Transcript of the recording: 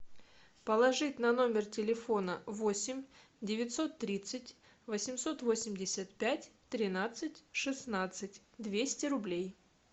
положить на номер телефона восемь девятьсот тридцать восемьсот восемьдесят пять тринадцать шестнадцать двести рублей